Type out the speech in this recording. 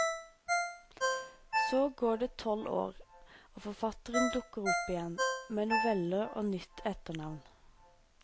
Så går det tolv år, og forfatteren dukker opp igjen med noveller og nytt etternavn.